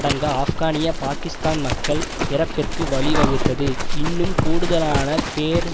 டங்கா ஆப்கானிய பாக்கிஸ்தான் மக்கள் இறப்பிற்கு வழிவகுத்தது இன்னும் கூடுதலான பேர்